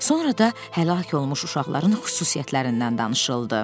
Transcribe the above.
Sonra da həlak olunmuş uşaqların xüsusiyyətlərindən danışıldı.